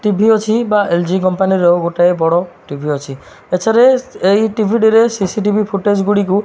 TV ଅଛି ବା LG company ର ଗୋଟାଏ ବଡ଼ ଟିଭି ଅଛି ଏଥେରେ ଏଇ ଟିଭି ଟିରେ ସିସି ଟିଭି ଫୁଟେଜ୍ ଗୁଡ଼ିକୁ --